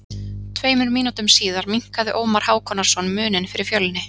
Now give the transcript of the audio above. Tveimur mínútum síðar minnkaði Ómar Hákonarson muninn fyrir Fjölni.